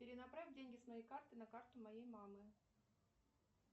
перенаправь деньги с моей карты на карту моей мамы